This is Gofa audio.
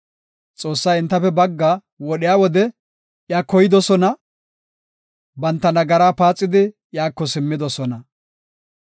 Xoossay entafe baggaa wodhiya wode iya koydosona, banta nagaraa paaxidi iyako simmidosona.